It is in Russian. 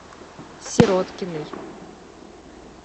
сироткиной